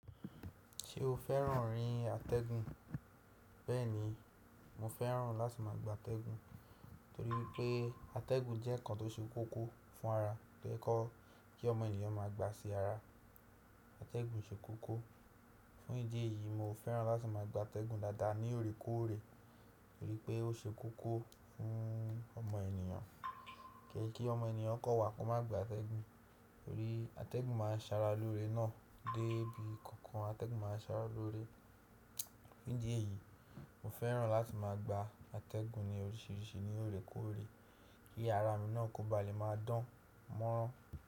Ṣé o fẹ́ràn rin àtẹ̀gùn? Bẹ́ẹ̀ni, mo fẹ́ràn láti má a gba àtẹ̀gùn torí pé àtẹ̀gùn jẹ́ ǹkan tó ṣe kókó fún ara tó yẹ kọ́ kí ọmọ ènìyàn má a gba sí ara. Àtẹ̀gùn ṣe kókó. Fún ìdí èyí, mo fẹ́ràn láti má a gba àtẹ̀gùn dáadáa ní òrékòóre torí pé ó ṣe kókó fún ọmọ ènìyàn. Kìí ṣe kí ọmọ ènìyàn kọ wà kó má gba àtẹ̀gùn, torí àtẹ̀gùn má a ń sàrà lóre ná dé ibi kankan. Àtẹ̀gùn má a ń sàrà lóre. Fún ìdí èyí, mo fẹ́ràn láti má a gba àtẹ̀gùn ní oríṣiríṣi ní òrékòóre kí ara mi náà kó ba lè má a dán mọ́rán.